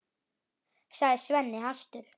sagði Svenni hastur.